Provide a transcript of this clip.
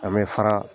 An bɛ fara